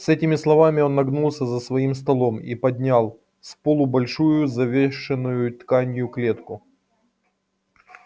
с этими словами он нагнулся за своим столом и поднял с полу большую завешенную тканью клетку